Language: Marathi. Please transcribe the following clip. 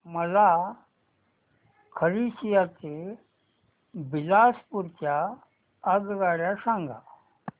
मला खरसिया ते बिलासपुर च्या आगगाड्या सांगा